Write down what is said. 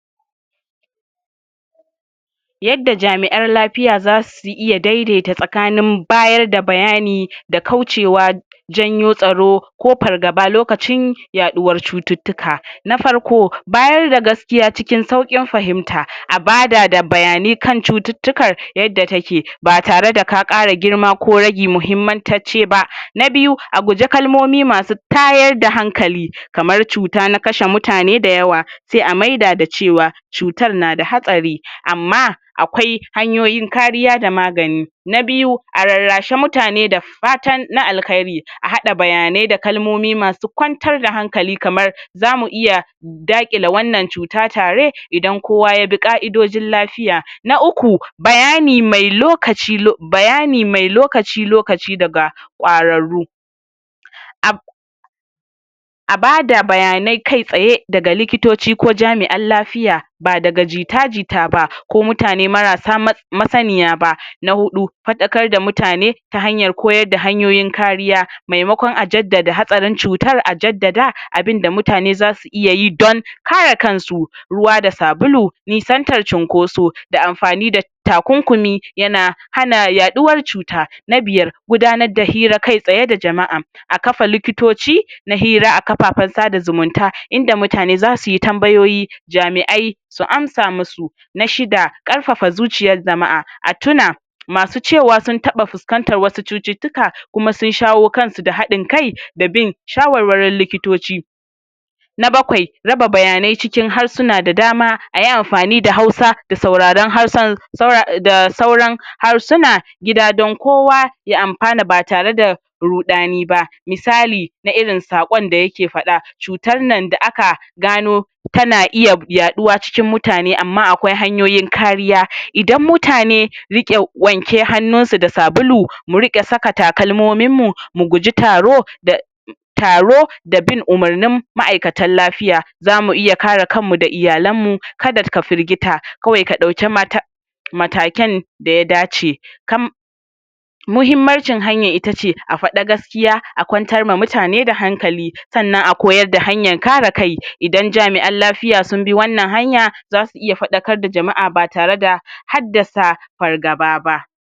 Yadda jami'an lafiya za su iya dai-daita tsakanin bayar da bayani da kaucewa janyo tsaro ko fargaba lokacin yaɗuwar cututtuka. Na farko bayar da gaskiya cikin sauƙin fahimta. A bada da bayanai kan cututtukar yadda take ba tare da ka ƙara girma ko ragi muhimmantacce ba. Na biyu a guje kalmomi masu tayar da hankali kamar cuta na kashe mutane da yawa sai a maida da cewa, cutar na da hatsari, amma akwai hanyoyin kariya da magani Na biyu a rarrashi mutane da fatan na alhairi a haɗa bayanai da kalmomi masu kwantar da hankali kamar zamu iya daƙile wannan cuta tare idan kowa yabi ƙa'idojin lafiya Na uku bayani mai lokaci lo bayani mai lokaci lokaci daga ƙwararru a a bada bayanai kai-tsaye daga likitoci ko jami'an lafiya ba daga jita-jita ba, ko mutane marasa ma masaniya ba. Na huɗu faɗarkar da mutane ta hanyar koyar da hanyoyin kariya maimakon a jaddada hatsarin cutar, a jaddada abinda mutane zasu iya yi don kare kansu ruwa da sabulu nisantar cunkoso da amfani da takunkumi ya na hana yaɗuwar cuta. Na biyar gudanar da hira kai-tsaye da jama'a a kafa likitotci na hira a kafafen sada zumunta inda mutane za su yi tambayoyi jami'ai su amsa musu. Na shida ƙarfafa zuciyar jama'a, a tuna masu cewa sun taɓa fuskantar wasu cututtuka kuma sun shawo kansu da haɗin kai da bin shawar-warin likitoci. Na bakwai raba bayanai cikin harsuna da dama ayi amfani da Hausa da sauraren harshen saura da sauran harsuna gida don kowa ya amfana ba tare da ruɗani ba. Misali na irin saƙon da ya ke faɗa cutan nan da aka gano ta na iya yaɗuwa cikin mutane amma akwai hanyoyin kariya. Idan mutane riƙe wanke hannunsa da sabulu, mu riƙa saka takalmominmu, mu guji taro da taro da bin umurnin ma'aikatan lafiya. Zamu iya kare kanmu da iyalanmu ka da ka firgita kawai ka ɗauki mata matakan da ya dace kam muhimmancin hanyar ita ce a faɗa gaskiya a kwantarma mutane da hankali sannan a koyar da hanyan kare kai idan jami'an lafiya sun bi wannan hanya za su iya faɗarkar da jama'a ba tare da haddasa fargaba ba.